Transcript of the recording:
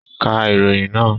Ka ìròyìn náà!